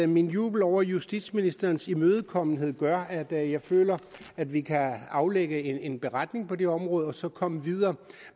min jubel over justitsministerens imødekommenhed gør at jeg føler at vi kan afgive en beretning på det område og så komme videre